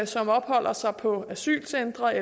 som opholder sig på asylcentrene